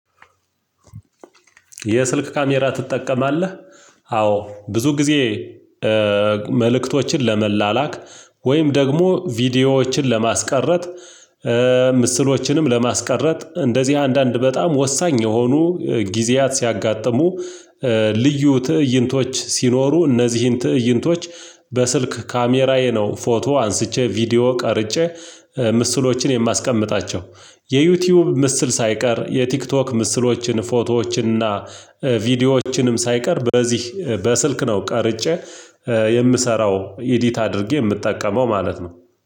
የስልክ ካሜራ ትጠቀማለህ? አዎ ብዙ ጊዜ መልእክቶችን ለመላላክ ወይም ደግሞ ቪዲዮዎችን ለማስቀረት ምስሎችንም ለማስቀረት እንደዚህ አንዳንድ በጣም ወሳኝ የሆኑ ጊዜያት ሲያጋጥሙ። ልዩ ትእይንቶች ሲኖሩ እነዚህን ትእይንቶች በስልክ ካሜራዬ ነው ፎቶ አንስቼ ቪዲዮ ቀርጬ ምስሎችን የማስቀምጣቸው። የዩቲዩብ ምስል ሳይቀር የቲክቶክ ምስሎችን ፎቶዎችን እና ቪዲዮዎችንም ሳይቀር በዚህ በስልክ ነው ቀርጬ የምሰራው ኤዲት አድርጌ የምትጠቀመው ማለት ነው።